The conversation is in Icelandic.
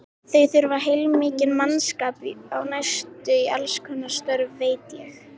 Þeir þurfa heilmikinn mannskap á næstunni í allskonar störf, veit ég.